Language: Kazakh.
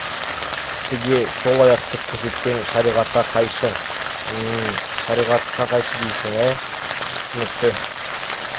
кісіге сол аяқты көрсеткен шариғатқа қайшы м-м шариғатқа қайшы дейсің ә түсінікті